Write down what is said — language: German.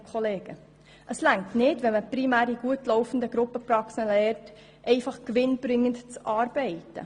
Es reicht nicht, wenn man primär in gut laufenden Gruppenpraxen lernt, einfach gewinnbringend zu arbeiten.